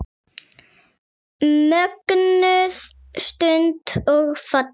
Mögnuð stund og falleg.